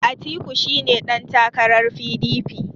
Atiku shi ne ɗantakarar P.D.P